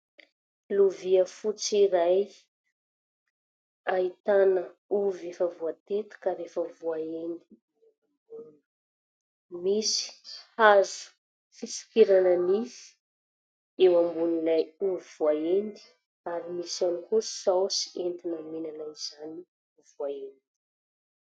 Lovia fotsy iray ahitana ovy efa voatetika ary efa voahendy, misy hazo fisokirana nify eo ambonin'ilay ovy voahendy. Misy ihany koa saosy entina mihinana izany ovy voahendy izany.